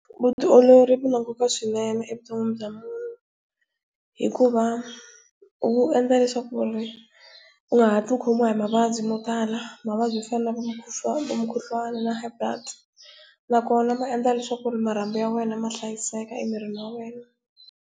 Vutiolori byi na nkoka swinene evuton'wini bya munhu. Hikuva byi endla leswaku u nga hatli u khomiwa hi mavabyi mo tala mavabyi mo fana na mukhuhlwani na highblood. Nakona byi endla leswaku marhambu ya wena ma hlayiseka emirini wa wena.